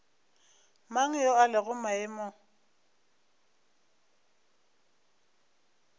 mang yo a lego maemong